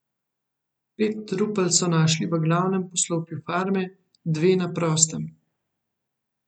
Pet trupel so našli v glavnem poslopju farme, dve na prostem.